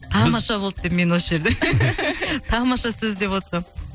тамаша болды деп мен осы жерде тамаша сөз деп отырсам